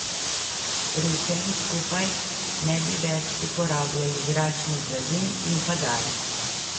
Pri vsem skupaj ne bi več uporabljali zračnih blazin in padal.